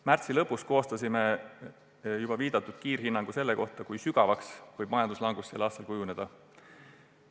Märtsi lõpus koostasime juba viidatud kiirhinnangu selle kohta, kui sügavaks võib majanduslangus sel aastal kujuneda.